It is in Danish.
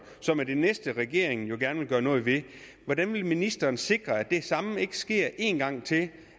som er det næste regeringen jo gerne vil gøre noget ved hvordan vil ministeren sikre at det samme ikke sker en gang til